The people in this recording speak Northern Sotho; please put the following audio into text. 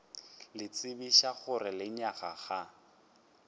le tsebiša gore lenyaga ga